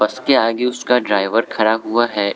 उसके आगे उसका ड्राइवर खड़ा हुआ है।